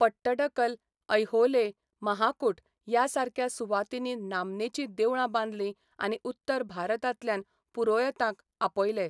पट्टडकल, ऐहोले, महाकूट ह्या सारक्या सुवातींनी नामनेचीं देवळां बांदलीं आनी उत्तर भारतांतल्यान पुरोयतांक आपयले.